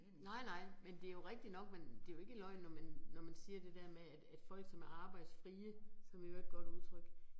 Nej nej, men det jo rigtigt nok, men det jo ikke løgn når man når man siger det der med, at at folk, som er arbejdsfrie, som i øvrigt et godt udtryk